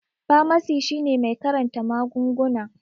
Famasi shine mai karanta magunguna